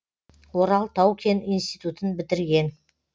орал тау кен институтын бітірген